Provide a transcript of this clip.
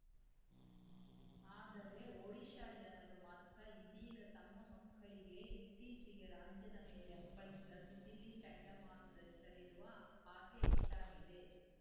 ಆದರೆ ಒಡಿಶಾ ಜನರು ಮಾತ್ರ ಇದೀಗ ತಮ್ಮ ಮಕ್ಕಳಿಗೆ ಇತ್ತೀಚೆಗೆ ರಾಜ್ಯದ ಮೇಲೆ ಅಪ್ಪಳಿಸಿದ ತಿತಿಲಿ ಚಂಡಮಾರುತದ ಹೆಸರಿಡುವ ಆಸೆ ಹೆಚ್ಚಾಗಿದೆ